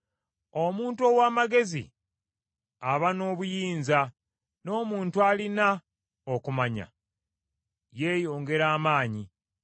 Omuntu ow’amagezi aba n’obuyinza, n’omuntu alina okumanya yeeyongera amaanyi.